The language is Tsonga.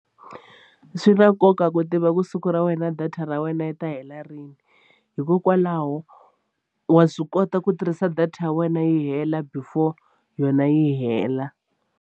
Swi na nkoka ku tiva ku siku ra wena data ra wena yi ta hela rini hikokwalaho wa swi kota ku tirhisa data ya wena yi hela before yona yi hela.